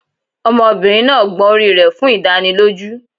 Ọmọbìnrin náà gbọn orí rẹ̀ fún ìdánilójú